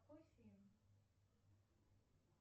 какой фильм